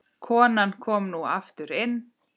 Konan kom nú aftur inn.